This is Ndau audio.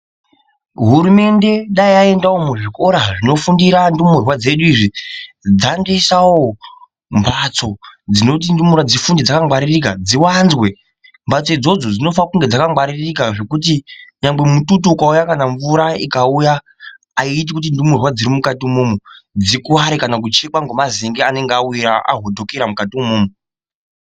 Hurumende dai yaendawo muzvikora zvinofundira ndumurwa dzedu izvi dzandoisawo mbatso dzinoti ndumurwa dzifunde dzakangwaririka, dziwanzwe . Mbatso idzodzo dzinofanira kunge dzakangwaririka zvekuti nyangwe mututu ukauya kana mvura ikauya haiiti kuti ndumurwa dziri mukati imomomo dzikuvare kana kuchekwa ngemazenge awira, ahudhukira mwukati imwomwomwo.